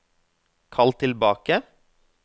kall tilbake